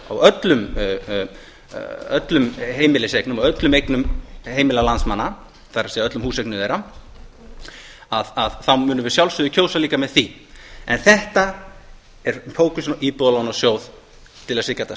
á öllum heimiliseignum og öllum eignum heimila landsmanna það er öllum húseignum þeirra þá munum við að sjálfsögðu kjósa líka með því en þetta er fókusinn á íbúðalánasjóð til að það sé ekki hægt að